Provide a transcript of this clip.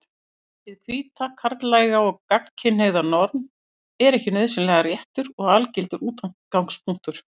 Hið hvíta, karllæga og gagnkynhneigða norm er ekki nauðsynlega réttur og algildur útgangspunktur.